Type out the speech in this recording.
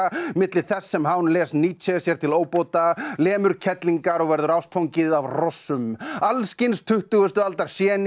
milli þess sem les Nietzsche sér til óbóta lemur kellingar og verður ástfangið af hrossum alls kyns tuttugustu aldar